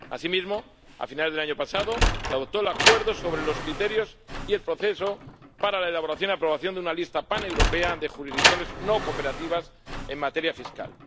Asimismo, a finales del año pasado se aprobó el acuerdo sobre los criterios y el proceso para la elaboración y aprobación de una lista paneuropea de jurisdicciones no cooperativas en materia fiscal.